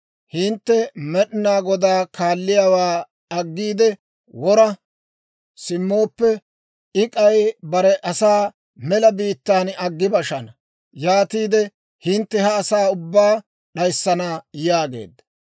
Hintte Med'inaa Godaa kaalliyaawaa aggiide wora simmooppe, I k'aykka bare asaa mela biittaan aggi bashana. Yaatiide hintte ha asaa ubbaa d'ayissana» yaageedda.